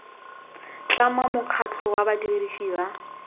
tlhama mokgatlho wa badirisi ba